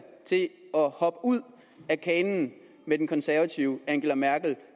hoppe ud af af kanen med den konservative angela merkel